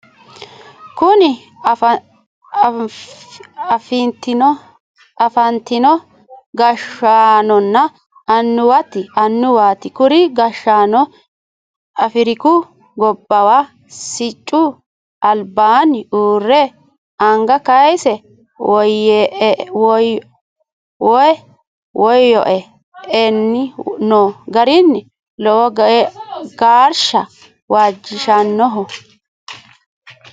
Kunni afantino gashaanonna annuwaati kuri gashaano afiriku gobbuwa siccu albaanni uure anga kayise woyo e'anni noo gari lowo geersha waajishanoho.